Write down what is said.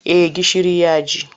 Eh gishiri ya ji.